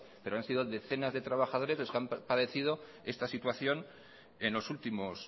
pero han sido decenas de trabajadores los que han padecido esta situación en los últimos